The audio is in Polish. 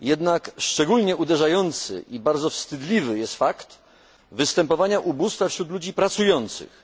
Jednak szczególnie uderzający i bardzo wstydliwy jest fakt występowania ubóstwa wśród ludzi pracujących,